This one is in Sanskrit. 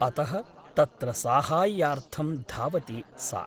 अतः तत्र साहाय्यार्थं धावति सा ।